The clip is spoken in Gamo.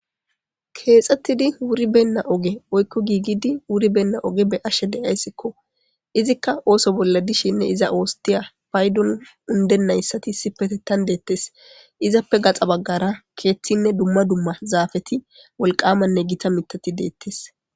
Keexxettidi wuri benna oge oykko giigidi wuribenna oge be ashe deyayssikko izikka ooso bolla dishinne iza oostiya paydon undennayssati sipetettan deettes izappe gaxa baggara keeththinne dumma dumma zaafeti wolqamanne gita mitati deettes.